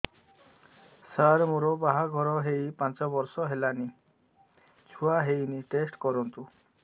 ସାର ମୋର ବାହାଘର ହେଇ ପାଞ୍ଚ ବର୍ଷ ହେଲାନି ଛୁଆ ହେଇନି ଟେଷ୍ଟ କରନ୍ତୁ